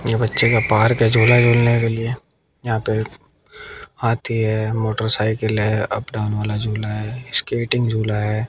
ये बच्चे का पार्क है झूला झूलने के लिए यहां पे हाथी है मोटरसाइकिल है अप डाउन वाला झूला है स्केटिंग झूला है।